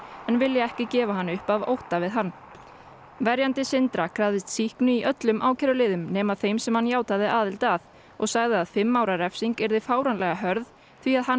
en vilja ekki gefa hann upp af ótta við hann verjandi Sindra krafðist sýknu í öllum ákæruliðum nema þeim sem hann játaði aðild að og sagði að fimm ára refsing yrði fáránlega hörð því hann